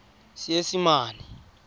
seesimane